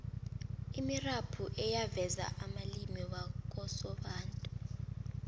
imirabhu eyaveza amalimi wakosobantu